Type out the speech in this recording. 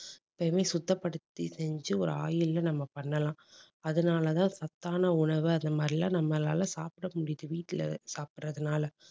எப்பவுமே சுத்தப்படுத்தி செஞ்சு ஒரு oil ல நம்ம பண்ணலாம் அதனால தான் சத்தான உணவு அந்த மாதிரி எல்லாம் நம்மளால சாப்பிட முடியுது. வீட்டுல சாப்பிடுறதுனால